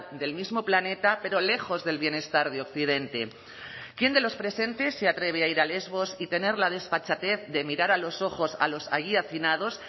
del mismo planeta pero lejos del bienestar de occidente quién de los presentes se atreve a ir a lesbos y tener la desfachatez de mirar a los ojos a los allí hacinados